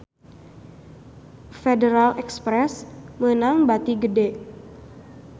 Federal Express meunang bati gede